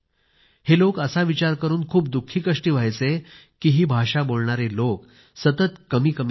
हे लोक असा विचार करून खूप दुःखीकष्टी व्हायचे कि ही भाषा बोलणारे लोक सतत कमीकमी होत आहेत